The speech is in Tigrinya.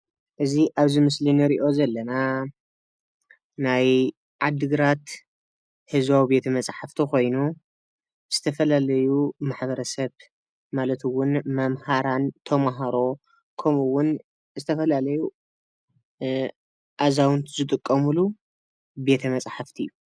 እዚ ኣብዚ ምስሊ ንሪኦ ዘለና ናይ ዓዲግራት ህዝባዊ ቤተ መፅሓፍቲ ኾይኑ ዝተፈላለዩ ማሕበረሰብ ማለት እውን መምሃራን ፣ተምሃሮ ከምኡ ውን ዝተፈላለዩ ኣዛውንቲ ዝጥቀምሉ ቤተ መፅሓፍቲ እዩ፡፡